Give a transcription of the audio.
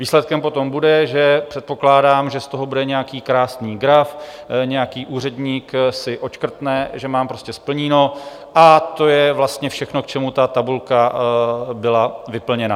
Výsledkem potom bude, že předpokládám, že z toho bude nějaký krásný graf, nějaký úředník si odškrtne, že mám prostě splněno, a to je vlastně všechno, k čemu ta tabulka byla vyplněna.